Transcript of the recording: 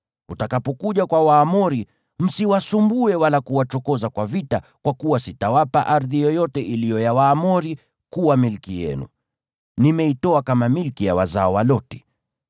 Utakapokuja kwa Waamoni, msiwasumbue wala kuwachokoza kwa vita, kwa kuwa sitawapa ardhi yoyote iliyo ya Waamoni kuwa milki yenu. Nimeitoa kama milki ya wazao wa Loti.”